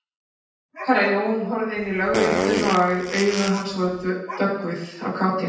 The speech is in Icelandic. Herra Jón horfði inn í Lögréttuna og augu hans voru döggvuð af kátínu.